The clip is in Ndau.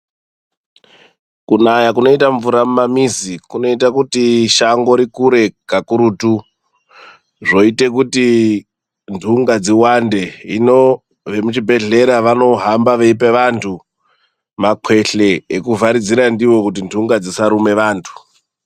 Kunaya kunoita mvura mumamuzi kunoita kuti shango rikure kakurutu zvoite kuti ndunga dziwande ino vemuzvibhedlera vanohamba veyipe vandu makwehle ekuvharidzira ndiwo kuti ndunga dzisarume vandu.